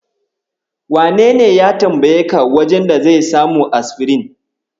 Wanene ya tambayeka wajen da zai samu asfirin?